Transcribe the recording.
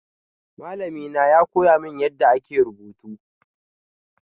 Malami na ya koya mini yadda ake rubutu.